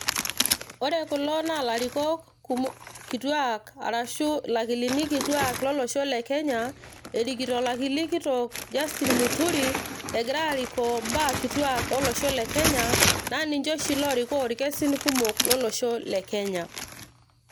ore kulo naa ilarikok kumo kituak ashu ilakilini kituak lolosho le kenya erikito olakili kitok Justin muturi egira arikoo imbaa kituak olosho le kenya naa ninche oshi lorikoo irkesin kumok lolosho le kenya.